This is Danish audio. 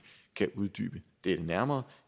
kan uddybe det nærmere